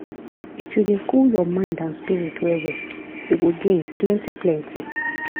if you dey cool your mind and spirit well well you go gain plenty plenty.